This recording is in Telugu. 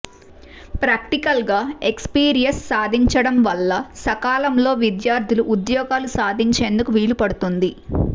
ప్రాక్టికల్ గా ఎక్స్ పీరియస్ సాధించడం వల్ల సకాలంలో విద్యార్థులు ఉద్యోగాలు సాధించేందుకు వీలు పడుతుంది